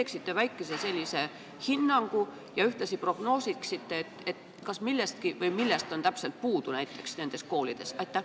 Kas te annaksite sellise väikese hinnangu ja ühtlasi prognoosiksite, kas millestki on puudu ja millest täpselt on puudu näiteks nendes koolides?